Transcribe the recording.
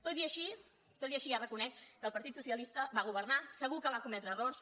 tot i així tot i així ja reconec que el partit socialista va governar segur que va cometre errors